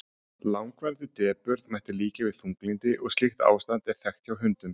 langvarandi depurð mætti líkja við þunglyndi og slíkt ástand er þekkt hjá hundum